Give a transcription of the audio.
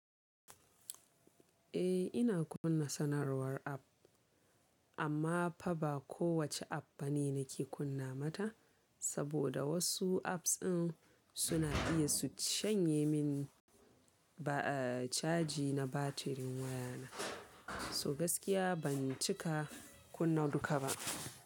Eh ina kunna sanarwar app, amma fa ba kowace app bane nake kunna mata. Saboda wosu apps din suna iya su shanye min ba a caji na batirin wayana. So gaskiya ban cika kunna duka ba.